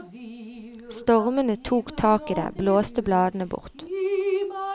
Stormene tok tak i det, blåste bladene bort.